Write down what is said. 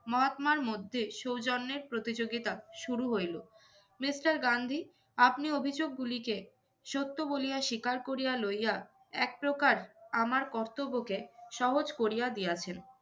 মহাত্মার মধ্যে সৌজন্যের প্রতিযোগিতা শুরু হইলো। Mister গান্ধী আপনি অভিযোগ গুলিকে সত্য বলিয়া শিকার করিয়া লইয়া একপ্রকার আমার কর্তব্যকে সহজ করিয়া দিয়াছেন।